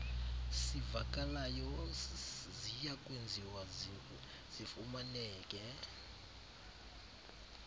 sivakalayo ziyakwenziwa zifumaneke